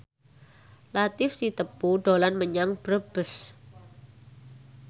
Latief Sitepu dolan menyang Brebes